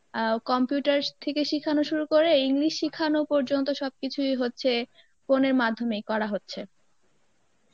অ্যাঁ computer থেকে শিখানো থেকে শুরু করে English শিখানো পর্যন্ত সবকিছুই হচ্ছে phone এর মাধ্যমেই করা হচ্ছে